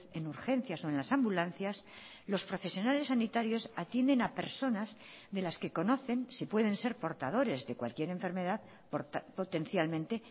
en urgencias o en las ambulancias los profesionales sanitarios atienden a personas de las que conocen si pueden ser portadores de cualquier enfermedad potencialmente